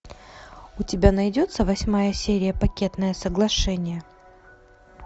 у тебя найдется восьмая серия пакетное соглашение